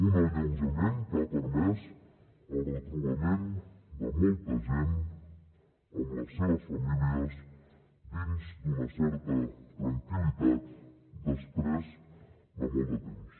un alleujament que ha permès el retrobament de molta gent amb les seves famílies dins d’una certa tranquil·litat després de molt de temps